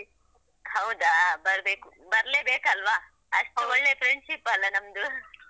ಹೌದಾ ಬರ್ಬೇಕು, ಬರ್ಲೇಬೇಕಲ್ವಾ. ಅಷ್ಟು ಒಳ್ಳೆ friendship ಅಲ್ಲ ನಮ್ದು .